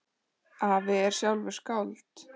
Afi er sjálfur skáld.